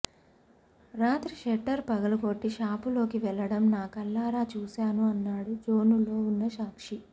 రాత్రి షట్టర్ పగలకొట్టి షాపులోకి వెళ్ళడం నా కళ్లారా చూశాను అన్నాడు బోనులో ఉన్న సాక్షి